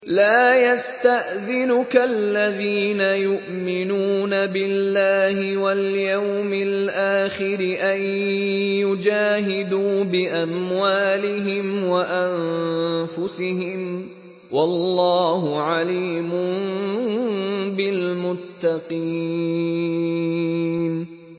لَا يَسْتَأْذِنُكَ الَّذِينَ يُؤْمِنُونَ بِاللَّهِ وَالْيَوْمِ الْآخِرِ أَن يُجَاهِدُوا بِأَمْوَالِهِمْ وَأَنفُسِهِمْ ۗ وَاللَّهُ عَلِيمٌ بِالْمُتَّقِينَ